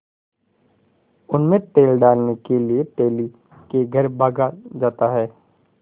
उनमें तेल डालने के लिए तेली के घर भागा जाता है